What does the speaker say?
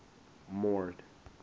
mord